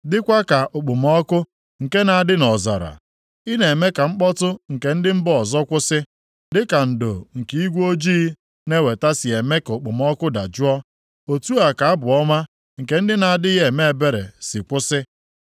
dịkwa ka okpomọkụ nke na-adị nʼọzara. Ị na-eme ka mkpọtụ nke ndị mba ọzọ kwụsị, dịka ndo nke igwe ojii na-eweta si eme ka okpomọkụ dajụọ, otu a ka abụ ọma nke ndị na-adịghị eme ebere si kwụsị.